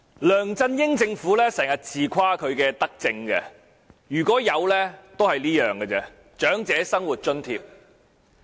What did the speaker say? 梁振英政府經常自誇其德政，如果有，也只有這一項，便是設立長者生活津貼。